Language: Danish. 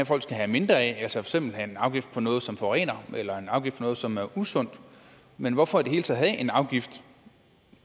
folk skal have mindre af altså for eksempel en afgift på noget som forurener eller en afgift på noget som er usundt men hvorfor i det hele taget have en afgift